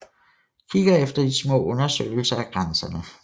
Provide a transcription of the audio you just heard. Kigger efter de små undersøgelser af grænserne